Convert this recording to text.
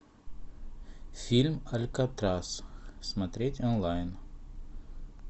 фильм алькатрас смотреть онлайн